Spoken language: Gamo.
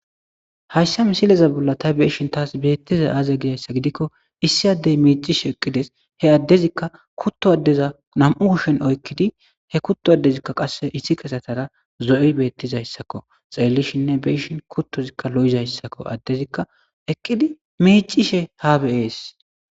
Hayssa misileza bolla tay be'ishin taas beettizay aaze giza gidikko issi addey miiccishe eqqides. He addezikka kutto addeza nami'u kushen oykkidi he kutto addezi qassekka iththiketara zo'i beettizayssako. Xeellishininne be'ishin kuttozikka lo'izayssako addezikka eqqidi miiccishe haa be'es.